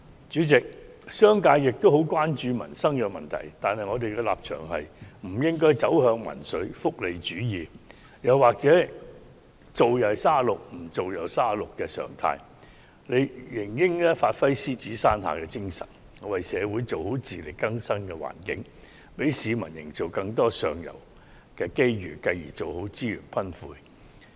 主席，商界也很關注民生問題，但我們的立場是不應走向民粹、福利主義，又或"做又三十六，唔做又三十六"的常態，而應發揮獅子山下的精神，為社會做好自力更生的環境，為市民營造更多上游機遇，繼而做好資源分配。